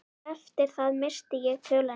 Eftir það missti ég töluna.